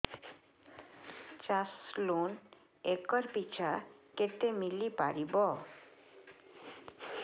ଚାଷ loan acre ପିଛା କେତେ ମିଳି ପାରିବ